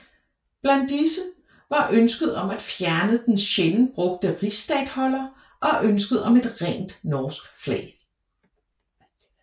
Blandt disse var ønsket om at fjerne den sjældent brugte rigsstatholder og ønsket om et rent norsk flag